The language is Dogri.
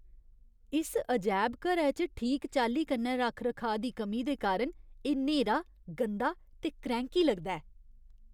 इस अजैबघरै च ठीक चाल्ली कन्नै रक्ख रखाऽ दी कमी दे कारण एह् न्हेरा, गंदा ते क्रैंह्की लगदा ऐ।